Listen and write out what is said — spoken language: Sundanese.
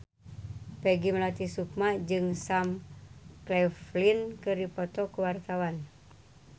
Peggy Melati Sukma jeung Sam Claflin keur dipoto ku wartawan